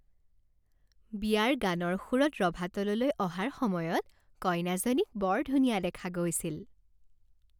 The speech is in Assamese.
বিয়াৰ গানৰ সুৰত ৰভাতললৈ অহাৰ সময়ত কইনাজনীক বৰ ধুনীয়া দেখা গৈছিল।